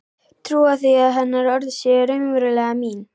Trúa því að hennar orð séu raunverulega mín.